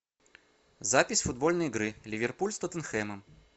запись футбольной игры ливерпуль с тоттенхэмом